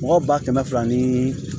Mɔgɔ ba kɛmɛ fila ni